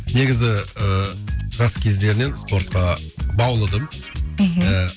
негізі ы жас кездерінен спортқа баулыдым мхм ыыы